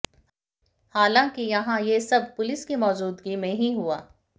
हालांकि यहां ये सब पुलिस की मौज़ूदगी में ही हुआ